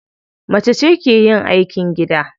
Macece ke yin aikin gida.